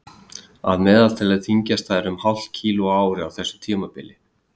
að meðaltali þyngjast þær um hálft kíló á ári á þessu tímabili